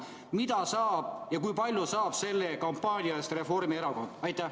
Mida ja kui palju saab selle kampaania eest Reformierakond?